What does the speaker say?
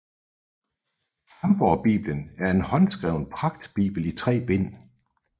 Hamborgbibelen er en håndskreven pragtbibel i tre bind